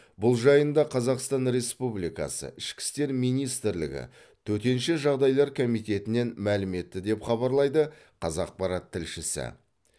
бұл жайында қазақстан республикасы ішкі істер министрлігі төтенше жағдайлар комитетінен мәлім етті деп хабарлайды қазақпарат тілшісі